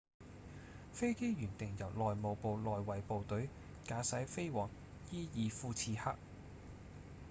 飛機原定由內務部內衛部隊駕駛飛往伊爾庫次克